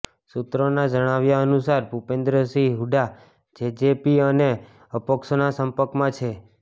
સૂત્રોના જણાવ્યા અનુસાર ભૂપેન્દ્રસિંહ હૂડા જેજેપી અને અપક્ષોના સંપર્કમાં છે